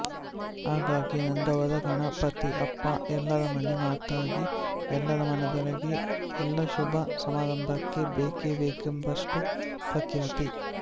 ಹಾಗಾಗಿ ನಂದಾವರಗಣಪತಿಅಪ್ಪ ಎಲ್ಲರ ಮನೆ ಮಾತಾಗಿ ಎಲ್ಲರ ಮನದೊಳಗೆ ಎಲ್ಲಾ ಶುಭ ಸಮಾರಂಭಕ್ಕೆ ಬೇಕೇ ಬೇಕೆಂಬಷ್ಟು ಪ್ರಖ್ಯಾತಿ